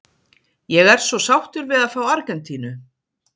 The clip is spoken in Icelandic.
Ég er svo sáttur við að fá Argentínu.